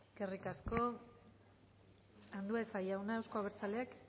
eskerrik asko andueza jauna euzko abertzaleak